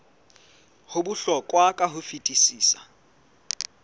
ho bohlokwa ka ho fetisisa